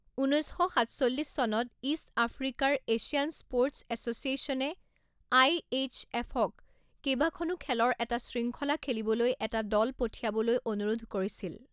ঊনৈছ শ সাতচল্লিছ চনত ইষ্ট আফ্ৰিকাৰ এছিয়ান স্প'ৰ্টছ এছ'চিয়েশ্যনে আই এইচ এফক কেইবাখনো খেলৰ এটা শৃংখলা খেলিবলৈ এটা দল পঠিয়াবলৈ অনুৰোধ কৰিছিল।